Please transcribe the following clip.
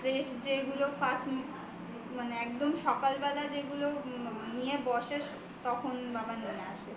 fresh যেগুলো পায় মানে একদম সকাল বেলা যেগুলো নিয়ে বসে তখন বাবা নিয়ে আসে